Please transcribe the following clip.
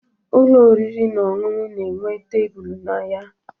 Ụlọ oriri na ọṅụṅụ na-enwe tebulu na ya